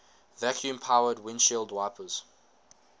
vacuum powered windshield wipers